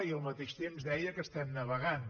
i al mateix temps deia que estem navegant